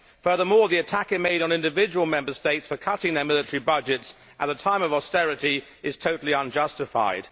Furthermore, the attack it made on individual Member States for cutting their military budgets at a time of austerity is totally unjustified.